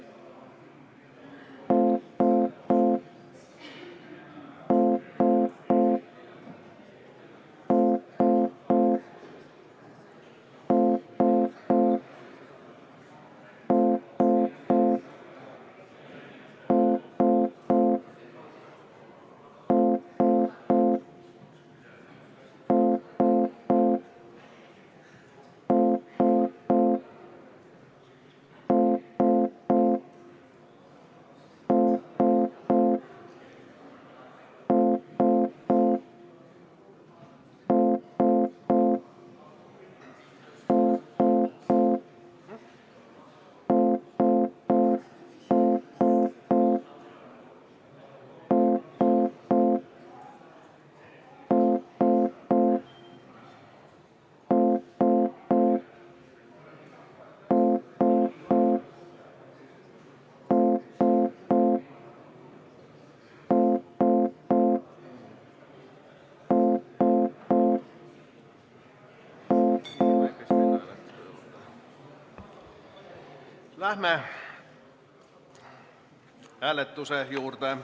Läheme hääletuse juurde.